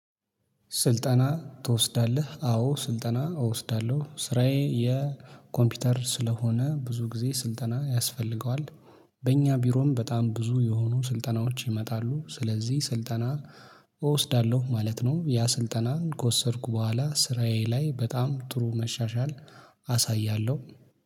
ስልጠና ትወስዳለህ? አዎ ስልጠና እወስዳለሁ። ስራዬ የኮምፒውተር ስለሆነ ብዙ ጊዜ ስልጠና ያስፈልገዋል። በእኛ ቢሮም በጣም ብዙ የሆኑ ስልጠናዎች ይመጣሉ። ስለዚህ ስልጠና እወስዳለሁ ማለት ነው። ያ ስልጠናን ከወሰድኩ በኋላ ስራዬ ላይ በጣም ጥሩ መሻሻል አሳያለሁ